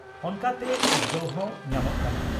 ᱚᱱᱠᱟᱛᱮ ᱩᱫᱽᱜᱟᱹᱣ ᱦᱚᱸ ᱧᱟᱢᱚᱜ ᱠᱟᱱᱟ ᱾